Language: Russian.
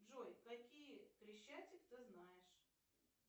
джой какие крещатик ты знаешь